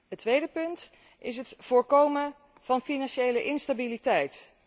Het tweede punt is het voorkomen van financiële instabiliteit.